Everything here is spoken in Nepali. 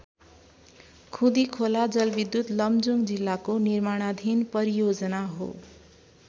खुँदिखोला जलविद्युत लमजुङ जिल्लाको निर्माणाधीन परियोजना हो।